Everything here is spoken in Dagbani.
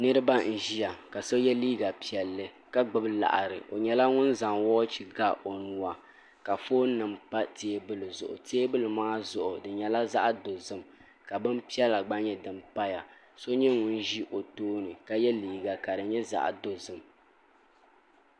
niraba n ʒiya ka so yɛ liiga piɛlli ka gbubi laɣari o nyɛla ŋun zaŋ woochi ga o nuwa ka foon nim pa teebuli maa zuɣu di nyɛla zaɣ dozim ka bin piɛla gba paya so nyɛ ŋun ʒi o tooni ka yɛ liiga ka di nyɛ zaɣ dozim